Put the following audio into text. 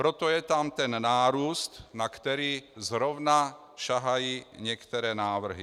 Proto tam je ten nárůst, na který zrovna sahají některé návrhy.